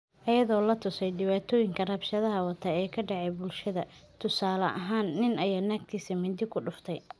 "Iyadoo la tuso dhacdooyinka rabshadaha wata ee ka dhaca bulshada, tusaale ahaan, nin ayaa naagtiisa mindi ku dhuftay...